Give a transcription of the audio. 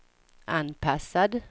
anpassad